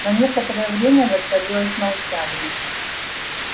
на некоторое время воцарилось молчание